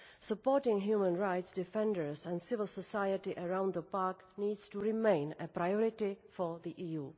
Supporting human rights defenders and civil society around the park needs to remain a priority for the EU.